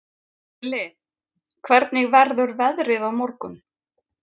Krilli, hvernig verður veðrið á morgun?